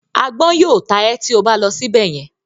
“Agbọ́n” yóò ta ẹ́ tí o bá lọ síbẹ̀ yẹn.